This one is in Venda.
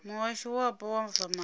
muhasho wapo wa zwa maḓi